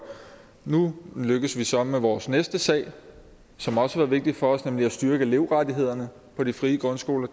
nu lykkes vi så med vores næste sag som også har været vigtig for os nemlig at styrke elevrettighederne på de frie grundskoler